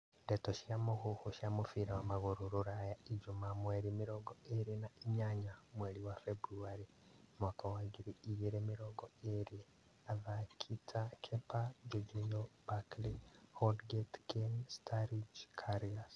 Ndeto cia mũhuhu cia mũbira wa magũrũ Rũraya ijumaa mweri mĩrongo ĩrĩ na inyanya mweri wa Februarĩ mwaka wa ngiri igĩrĩ mĩrongo athaki ta Kepa, Jorginho, Barkley, Holgate, Kane, Sturridge, Karius